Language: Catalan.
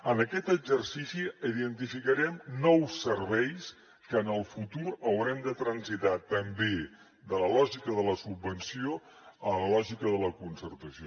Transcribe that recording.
en aquest exercici identificarem nous serveis que en el futur haurem de transitar també de la lògica de la subvenció a la lògica de la concertació